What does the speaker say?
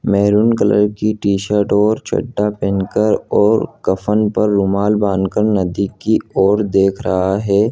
Maroon colour की T-shirt और चढ़ा पेहेन कर और कफ़न पर रुमाल बांधकर नदी की और देख रहा हैं।